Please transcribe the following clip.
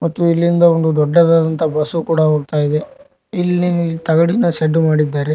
ಮತ್ತು ಇಲ್ಲಿಂದ ಒಂದು ದೊಡ್ಡದಾದಂತ ಬಸು ಕೂಡ ಹೋಗ್ತಾಯಿದೆ ಇಲ್ಲಿ ತಗಡಿನ ಶೇಡು ಮಾಡಿದರೆ.